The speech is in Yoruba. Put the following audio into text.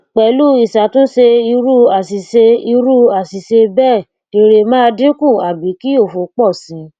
pelu isatunse iru asise iru asise bee ere maa dinku abi ki ofo po si